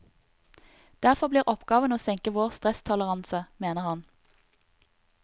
Derfor blir oppgaven å senke vår stresstoleranse, mener han.